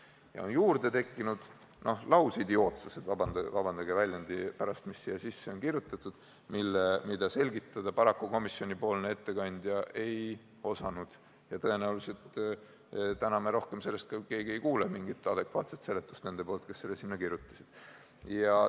Ja nüüd on juurde tekkinud veel lausidiootsused – vabandage väljendi pärast –, mis siia sisse on kirjutatud ning mida komisjoni ettekandja paraku selgitada ei osanud ja tõenäoliselt täna me selle kohta mingisugust adekvaatset seletust neilt, kes selle sinna kirjutasid, ei kuule.